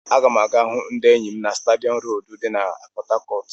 Aga m aga hụ ndị enyi m na stadium road di na Port Harcourt.